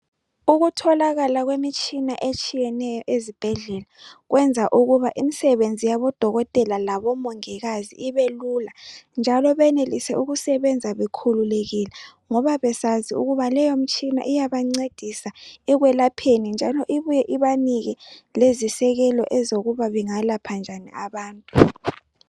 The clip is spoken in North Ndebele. Ukutholakala kwemitshina etshiyeneyo ezibhedlela kwenza ukuba imsebenzi yabo Dokotela labo Mongikazi ibe lula njalo benelise ukusebenza bekhululekile ngoba besazi ukuba leyo mtshina iyabancedisa ekwelapheni njalo ibuye ibanike lezisekelo zokuba bengayelapha njani abantu.